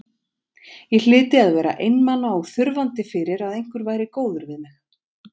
Ég hlyti að vera einmana og þurfandi fyrir að einhver væri góður við mig.